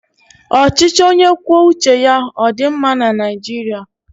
Ọchịchị onye kwuo uche ya ọ dị mma na Naijiria?